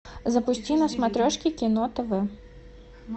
запусти на смотрешке кино тв